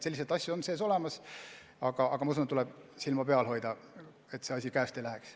Selliseid asju on olemas, aga tuleb silma peal hoida, et see asi käest ei läheks.